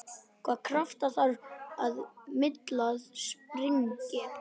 Hvaða krafta þarf til að miltað springi?